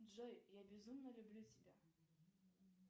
джой я безумно люблю тебя